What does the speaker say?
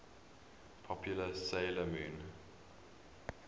popular 'sailor moon